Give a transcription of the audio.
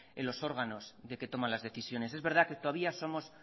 en los órganos de que toman las decisiones es verdad que todavía somos